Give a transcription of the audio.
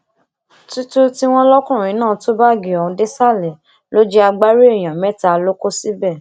títù tí wọn lọkùnrin náà tú báàgì ọhún désàlẹ ló jẹ agbárí èèyàn mẹta ló kó síbẹ